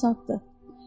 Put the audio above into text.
Bu asandır.